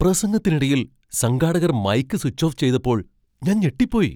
പ്രസംഗത്തിനിടയിൽ സംഘാടകർ mic switch off ചെയ്തപ്പോൾ ഞാൻ ഞെട്ടിപ്പോയി.